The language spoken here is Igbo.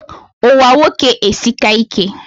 Ụwa nwoke esika ike